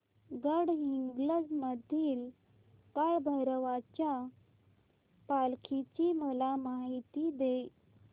गडहिंग्लज मधील काळभैरवाच्या पालखीची मला माहिती दे